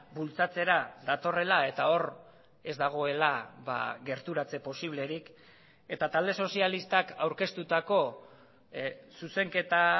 bultzatzera datorrela eta hor ez dagoela gerturatze posiblerik eta talde sozialistak aurkeztutako zuzenketa